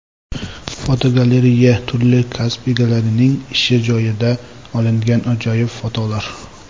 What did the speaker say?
Fotogalereya: Turli kasb egalarining ish joyidan olingan ajoyib fotolar.